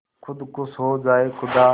खुद खुश हो जाए खुदा